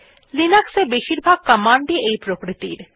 Linux এ বেশীরভাগ command ই এই প্রকৃতির